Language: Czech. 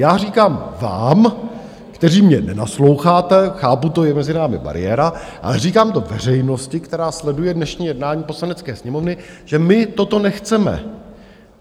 Já říkám vám, kteří mně nenasloucháte, chápu to, je mezi námi bariéra, ale říkám to veřejnosti, která sleduje dnešní jednání Poslanecké sněmovny, že my toto nechceme.